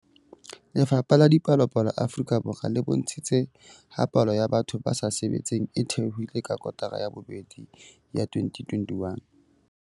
Lefapha la Dipalopalo Afrika Borwa le bontshitse ha palo ya batho ba sa sebetseng e theohile ka kotara ya bobedi ya 2021.